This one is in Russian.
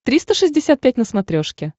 триста шестьдесят пять на смотрешке